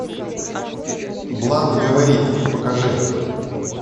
блант говорит покажи